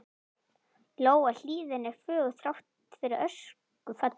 Lóa: Hlíðin er fögur, þrátt fyrir öskufallið?